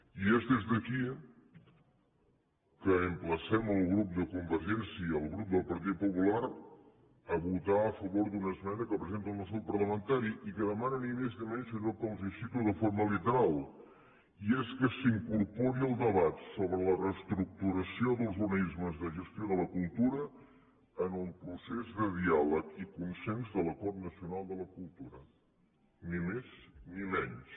i és des d’aquí que emplacem el grup de convergència i el grup del partit popular a votar a favor d’una esmena que presenta el nostre grup parlamentari i que demana ni més ni menys que allò que els cito de forma literal i és que s’incorpori el debat sobre la reestructuració dels organismes de gestió de la cultura en el procés de diàleg i consens de l’acord nacional de la cultura ni més ni menys